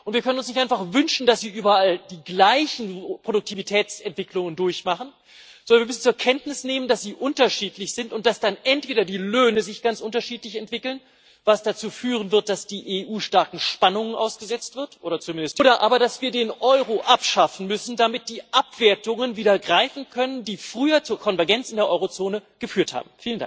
Wir können uns nicht einfach wünschen, dass sie überall die gleichen Produktivitätsentwicklungen durchmachen, sondern wir müssen zur Kenntnis nehmen, dass sie unterschiedlich sind und dass sich dann entweder die Löhne ganz unterschiedlich entwickeln, was dazu führen wird, dass die EU oder zumindest die Eurozone starken Spannungen ausgesetzt wird, oder aber, dass wir den Euro abschaffen müssen, damit die Abwertungen wieder greifen können, die früher zur Konvergenz in der Eurozone geführt haben.